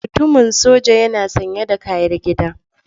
Mutumin soja yana sanye da kayar gida.